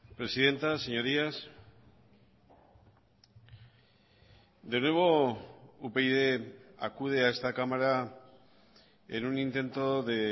presidenta señorías de nuevo upyd acude a esta cámara en un intento de